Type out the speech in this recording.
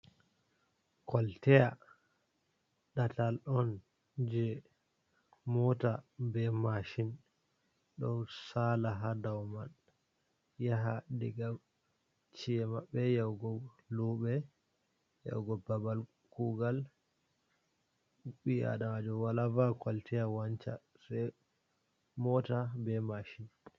Koltaya ɗatal on je mota be mashin ɗo sala ha dow man yaha diga cemabe yahugo luɓe, yahugo babal kugal, ɓi adamajo wala va'a koltaya wanca sei mota be mashin.